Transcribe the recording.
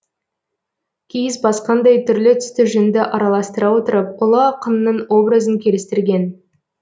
киіз басқандай түрлі түсті жүнді араластыра отырып ұлы ақынның образын келістірген